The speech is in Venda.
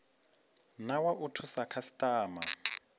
na wa u thusa khasitama